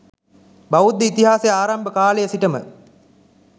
බෞද්ධ ඉතිහාසය ආරම්භ කාලය සිටම